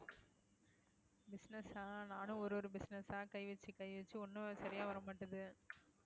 business ஆ நானும் ஒரு ஒரு business ஆ கை வச்சு கை வச்சு ஒண்ணும் சரியா வர மாட்டேங்குது